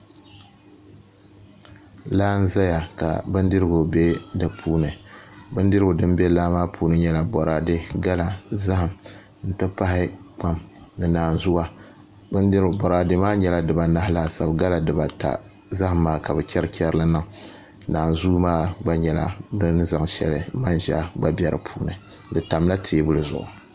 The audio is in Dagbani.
Laa n ʒɛya ka bindirigu bɛ di puuni bindirigu din bɛ laa maa puuni n nyɛ boraadɛ gala zaham n ti pahi kpam ni naanzuu boraadɛ maa nyɛla dibanahi laasabu gala dibata zaham maa ka bi chɛri chɛri li niŋ naanzuu maa gba nyɛla bin zaŋ shɛli ni manʒa di tamla teebuli zuɣu